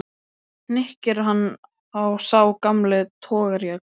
hnykkir hann á sá gamli togarajaxl.